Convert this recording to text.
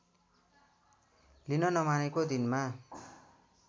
लिन नमानेको दिनमा